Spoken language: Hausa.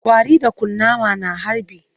Ƙwari da kunama na harbi